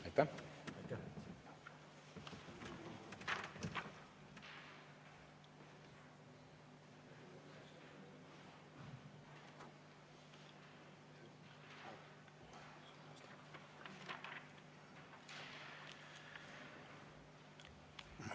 Aitäh!